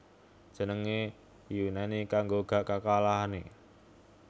Jenengne Yunani kanggo Gak Kekalahake